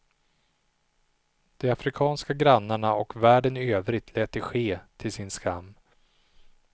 De afrikanska grannarna och världen i övrigt lät det ske, till sin skam.